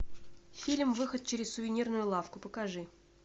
фильм выход через сувенирную лавку покажи